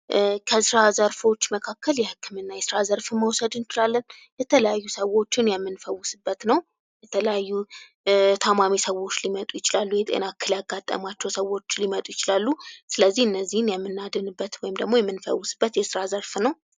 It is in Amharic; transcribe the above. ከስራ ዘርፎች መካከል የህክምና የስራ ዘርፍ መውሰድ እንችላለን የተለያዩ ሰዎችን የምንፈውስበት ነው የተለያዩ ታማሚ ሰዎች ሊመጡ ይችላሉ። የጤና እክል ያጋጠማቸው ሰዎች ሊመጡ ይችላሉ ስለዚህ እነዚህን የምናድንበት ወይም የምንፈውስበት የስራ ዘርፍ ነው።